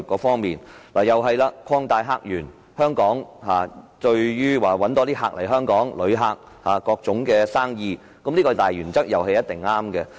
同樣地，"擴大客源"關乎香港如何吸引更多旅客及各類生意，這項大原則也一定是對的。